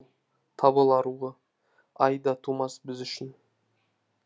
қош бол тобыл аруы ай да тумас біз үшін